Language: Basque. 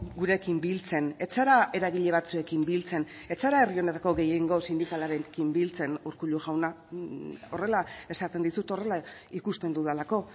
gurekin biltzen ez zara eragile batzuekin biltzen ez zara herri honetako gehiengo sindikalarekin biltzen urkullu jauna horrela esaten dizut horrela ikusten dudalako